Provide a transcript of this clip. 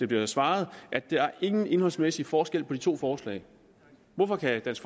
bliver svaret at der ingen indholdsmæssige forskelle er på de to forslag hvorfor kan dansk